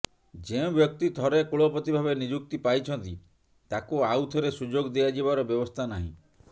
ଯେଉଁ ବ୍ୟକ୍ତି ଥରେ କୁଳପତି ଭାବେ ନିଯୁକ୍ତି ପାଇଛନ୍ତି ତାଙ୍କୁ ଆଉଥରେ ସୁଯୋଗ ଦିଆଯିବାର ବ୍ୟବସ୍ଥା ନାହିଁ